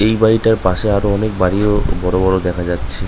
এই বাড়িটার পাশে আরো অনেক বাড়িও বড় বড় দেখা যাচ্ছে।